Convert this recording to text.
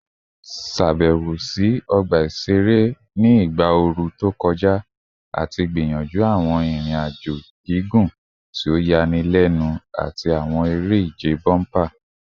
Ṣabẹwo si ọgba iṣere iṣere ni igba ooru to kọja ati gbiyanju awọn irin-ajo gigun ti o yanilenu ati awọn ere-ije bomper